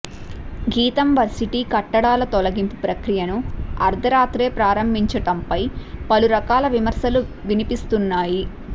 గీతం వర్సిటీ కట్టడాల తొలగింపు ప్రక్రియను అర్ధరాత్రే ప్రారంభించటంపై పలురకాల విమర్శలు వినిపిస్తున్నాయి